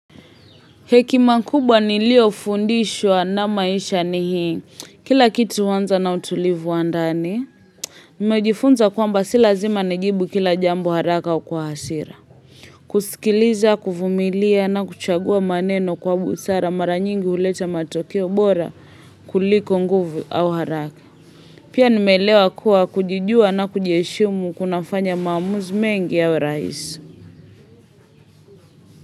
Hekima kubwa niliyofundishwa na maisha ni hii, kila kitu huanza na utulivu wa ndani. Nimejifunza kwamba si lazima nijibu kila jambo haraka wa kwa hasira. Kusikiliza, kuvumilia na kuchagua maneno kwa busara mara nyingi huleta matokeo bora kuliko nguvu au haraka. Pia nimeelewa kuwa kujijua na kujiheshimu kunafanya maamuzi mengi ya rahisi.